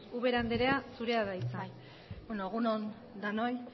ubera andrea zurea da hitza bai egun on denoi